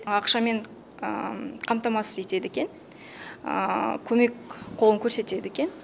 ақшамен қамтамасыз етеді екен көмек қолын көрсетеді екен